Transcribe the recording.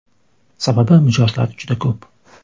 Sababi mijozlar juda ko‘p.